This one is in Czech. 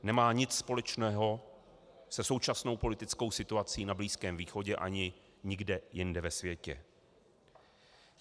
Nemá nic společného se současnou politickou situací na Blízkém východě ani nikde jinde ve světě.